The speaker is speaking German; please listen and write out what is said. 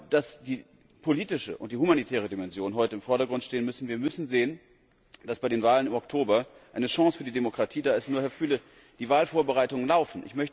Ich glaube, dass die politische und die humanitäre Dimension heute im Vordergrund stehen müssen. Wir müssen sehen, dass bei den Wahlen im Oktober eine Chance für die Demokratie da ist. Nur, Herr Füle, die Wahlvorbereitungen laufen.